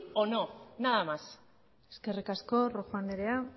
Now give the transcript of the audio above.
o no nada más eskerrik asko rojo andrea